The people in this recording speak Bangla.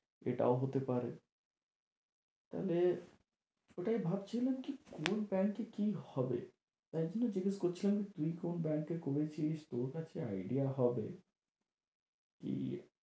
এটাও হতে পারে, তাহলে ওটাই ভাবছিলাম কি কোন bank এ কি হবে। তাই জন্য জিজ্ঞেস করছিলাম কী তুই কোন bank এ করেছিলিস তোর কাছে idea হবে কী